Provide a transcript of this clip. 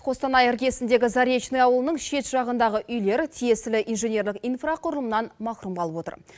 қостанай іргесіндегі заречный ауылының шет жағындағы үйлер тиесілі инженерлік инфрақұрылымнан мақрұм қалып отыр